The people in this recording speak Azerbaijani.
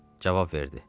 Cavab verdi: